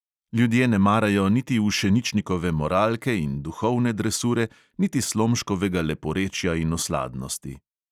Ljudje ne marajo niti ušeničnikove moralke in duhovne dresure niti slomškovega leporečja in osladnosti.